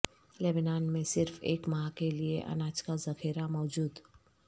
لبنان میں صرف ایک ماہ کیلئے اناج کا ذخیرہ موجود